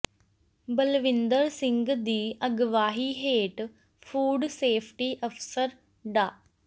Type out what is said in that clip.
ਬਲਵਿੰਦਰ ਸਿੰਘ ਦੀ ਅਗਵਾਈ ਹੇਠ ਫੂਡ ਸੇਫਟੀ ਅਫਸਰ ਡਾ